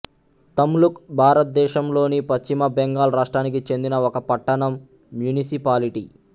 తమ్లుక్ భారతదేశంలోని పశ్చిమ బెంగాల్ రాష్ట్రానికి చెందిన ఒక పట్టణం మ్యునిసిపాలిటీ